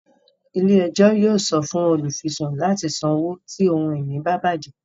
Ilé-ẹjọ yóò sọ fún olufisun láti sanwo ti ohun-ìní ba bajẹ